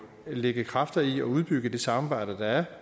så lægge kræfter i at udbygge det samarbejde der er